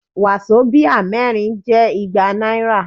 Wàsobíà mẹ́rin jẹ́ igba náírà.